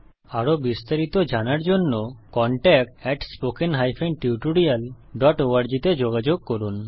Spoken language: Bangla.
আরো বিস্তারিত জানার জন্য contactspoken tutorialorg তে যোগযোগ করুন